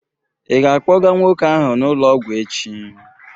Ị ga-akpọga nwoke ahụ n'ụlọ ọgwụ echi?